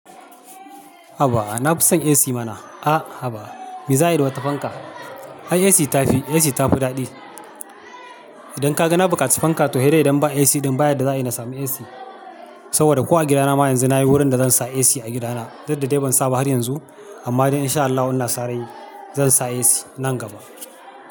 Haba, na fi son AC mana. Ah, haba. Me za'ayi da wata fanka. Ai AC ta fi, AC ta fi daɗi. Idan ka ga na buƙaci fanka, to hedai idan ba AC ɗin ba yadda za'a yi na sami AC. Saboda ko a gidana ma yanzu nayi wurin da zan sa AC a gidana, duk da dai ban sa ba har yanzu, amma dai in sha Allahu ina sa rai, zan sa AC nan gaba.